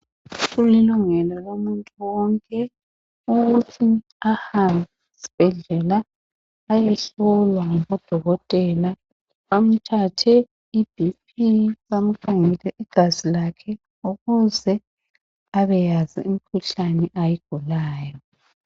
Kubalulekile ukuthi abantu bahambe esibhedlela beyehlolwa ngodokotela bamthathe iBp bamkhangele igazi lakhe ukuze abeyazi imkhuhlane ayigulayo.